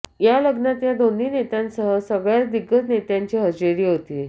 या लग्नात या दोन्ही नेत्यांसह सगळ्याच दिग्गज नेत्यांची हजेरी होती